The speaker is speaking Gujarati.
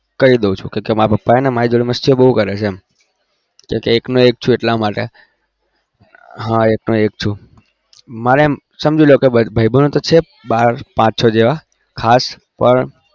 કઈ દઉં છુ કારણકે મારા પપ્પા મારી જોડે મસ્તી બઉ કરે છે એકનો એક છુ એટલા માટે હા એકનો એક છુ મારે સમજી લો મારે ભાઈ બેન છે પાચ છો જેવા ખાસ પણ